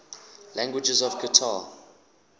languages of qatar